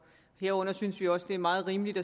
herunder synes vi også det er meget rimeligt i